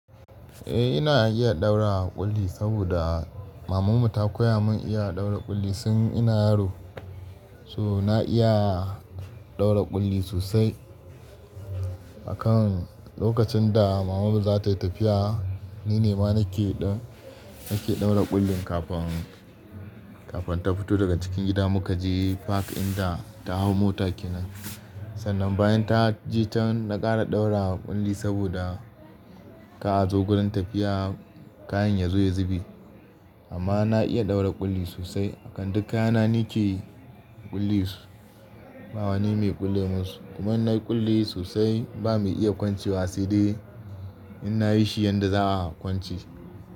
Eh ina iya ɗaura ƙulli, saboda mamanmu ta koya mun iya ɗaura ƙulli tun ina yaro. So na iya ɗaura ƙulli sosai. Akan lokacin da mama mu za ta yi tafiya, ni ne ma nake ɗau, nake ɗaura ƙullin kafin, kafin ta fito daga cikin gida mu ka je fak inda ta hau mota kenan. Sannan bayan ta je ta can na ƙara ɗaura ƙulli saboda ka a zo gurin tafiya kayan ya zo ya zube. Amma na iya ɗaura ƙulli sosai. Akan duk kaya na ni ke ƙulle su, ba wani mai kulle munsu. Kuma na ƙulle sosai ba mu iya kwancewa sai dai inna yi shi yadda za a kwance.